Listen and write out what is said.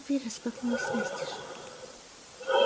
дверь распахнулась настежь